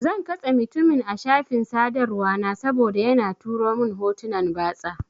Zan katse mutumin a shafin sadarwa na saboda yana turo mun hotunan batsa.